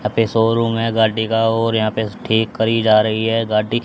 यहां पे शोरूम है गाड़ी का और यहा पे ठीक करी जा रही है गाड़ी।